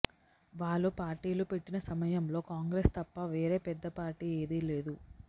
వాళ్లు పార్టీలు పెట్టిన సమయంలో కాంగ్రెస్ తప్ప వేరే పెద్ద పార్టీ ఏదీ లేదు